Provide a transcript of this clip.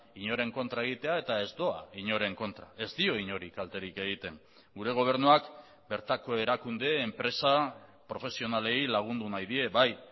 inoren kontra egitea eta ez doa inoren kontra ez dio inori kalterik egiten gure gobernuak bertako erakunde enpresa profesionalei lagundu nahi die bai